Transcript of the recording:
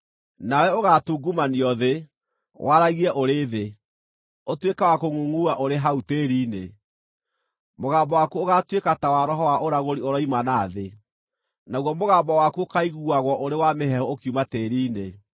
Nawe ũgaatungumanio thĩ, waragie ũrĩ thĩ; ũtuĩke wa kũngʼungʼua ũrĩ hau tĩĩri-inĩ. Mũgambo waku ũgaatuĩka ta wa roho wa ũragũri ũroima na thĩ; naguo mũgambo waku ũkaaiguagwo ũrĩ wa mĩheehũ ũkiuma tĩĩri-inĩ.